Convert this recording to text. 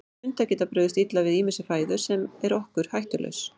Hundar geta brugðist illa við ýmissi fæðu sem er okkur hættulaus.